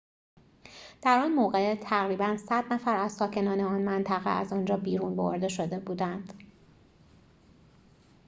در آن موقع تقریباً ۱۰۰ نفر از ساکنان آن منطقه از آنجا بیرون برده شده بودند